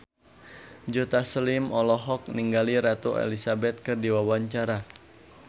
Joe Taslim olohok ningali Ratu Elizabeth keur diwawancara